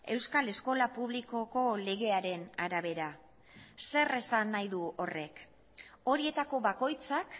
euskal eskola publikoko legearen arabera zer esan nahi du horrek horietako bakoitzak